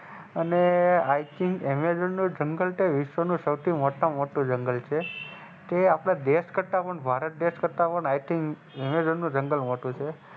અને i think Amazon નું જંગલ વિશ્વ નું સૌથી મોટા માં મોટું જંગલ છે તે આપડે દેશ કરતા પણ ભારત દેશ કરતા પણ i think જંગલ મોટું છે.